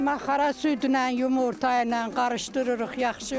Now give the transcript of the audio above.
Maxara südlə, yumurtayla qarışdırırıq yaxşı.